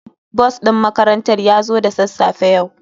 Bus din makarantar ya zo da sassafe yau.